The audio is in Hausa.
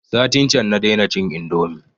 Satin can na dai na cin indomi